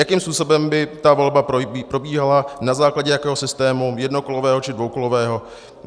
Jakým způsobem by ta volba probíhala, na základě jakého systému - jednokolového, či dvoukolového?